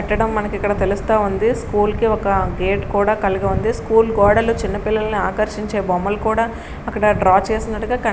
పెట్టడం మనకి ఇక్కడ తెలుస్తా ఉంది. స్కూల్ కి ఒక గేట్ కూడా కలిగి ఉంది. స్కూల్ గోడలు చిన్న పిల్లల్ని ఆకర్షించే బొమ్మలు కూడా అక్కడ డ్రా చేసినట్టుగా కని--